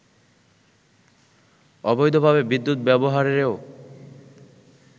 অবৈধভাবে বিদ্যুৎ ব্যবহারেরও